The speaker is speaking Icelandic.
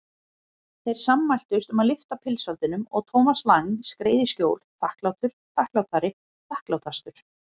Þær sammæltust um að lyfta pilsfaldinum og Thomas Lang skreið í skjól, þakklátur, þakklátari, þakklátastur.